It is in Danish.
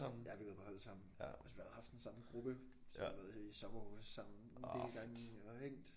Ja vi har gået på hold sammen. Hvis vi havde haft den samme gruppe som har været i sommerhus sammen en del gange og hængt